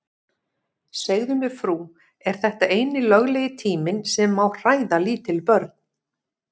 Segðu mér frú, er þetta eini löglegi tíminn sem má hræða lítil börn?